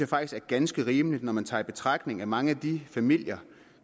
faktisk er ganske rimeligt når man tager i betragtning at mange af de familier